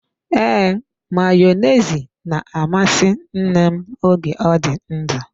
Ee, Mayonezi na-amasị nne m oge ọ dị ndụ.